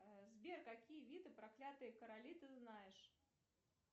сбер какие виды проклятые короли ты знаешь